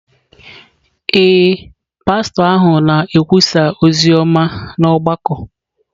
Ee, pastọ ahụ na-ekwusa ozi ọma n’ọgbakọ